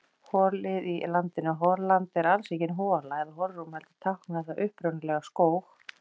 Hol-ið í landaheitinu Holland er alls engin hola eða holrúm heldur táknaði það upprunalega skóg.